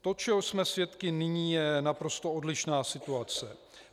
To, čeho jsme svědky nyní, je naprosto odlišná situace.